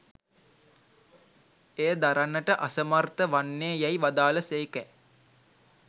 එය දරන්නට අසමර්ථ වන්නේ යැයි වදාළ සේකැ.